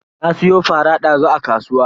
Na siyo fara dazu a kasuwa.